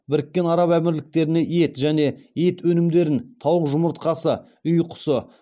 біріккен араб әмірліктеріне ет және ет өнімдерін тауық жұмыртқасы үй құсы